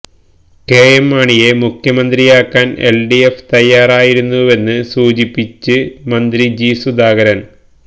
KM മാണിയെ മുഖ്യമന്ത്രിയാക്കാന് LDF തയ്യാറായിരുന്നുവെന്ന് സൂചിപ്പിച്ച് മന്ത്രി ജി സുധാകരന്